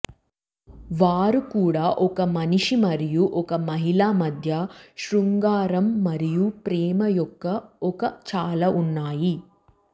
వారు కూడా ఒక మనిషి మరియు ఒక మహిళ మధ్య శృంగారం మరియు ప్రేమ యొక్క ఒక చాలా ఉన్నాయి